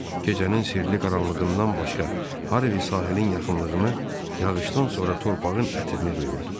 Gecənin sirli qaranlığından başqa Harvi sahilin yaxınlığını yağışdan sonra torpağın ətirini duyurdu.